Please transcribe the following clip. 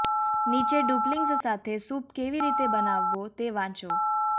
નીચે ડુપ્લિંગ્સ સાથે સૂપ કેવી રીતે બનાવવો તે વાંચો